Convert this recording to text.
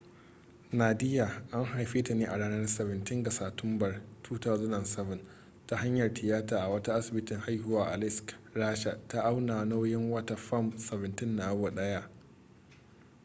nadia an haife ta ne a ranar 17 ga satumbar 2007 ta hanyar tiyata a wata asibitin haihuwa a aleisk rasha ta auna nauyin wata fam 17 na awo daya